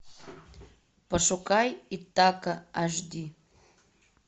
пошукай итака аш ди